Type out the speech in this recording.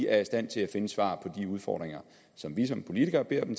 er i stand til at finde svar på de udfordringer som vi som politikere beder dem